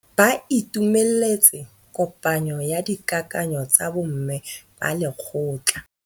Ba itumeletse kôpanyo ya dikakanyô tsa bo mme ba lekgotla.